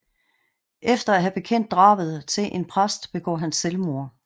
Efter at have bekendt drabet til en præst begår han selvmord